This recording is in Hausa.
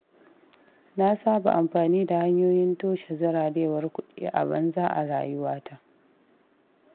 Na saba amfani da hanyoyin toshe zirarewar kuɗi a banza a rayuwata.